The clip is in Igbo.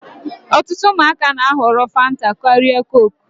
Ọtụtụ ụmụaka na-ahọrọ fanta karịa kook.